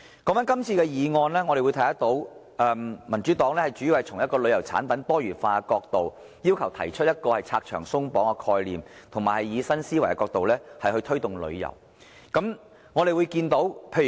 關於今天這項議案，民主黨主要從旅遊產品多元化的角度，提出拆牆鬆綁的概念，並以新思維推動旅遊。